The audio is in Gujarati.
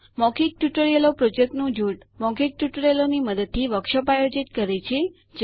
મૌખિક ટ્યુટોરિયલો પ્રોજેક્ટ નું જૂથ મૌખિક ટ્યુટોરિયલોની મદદથી વર્કશોપ આયોજિત કરે છે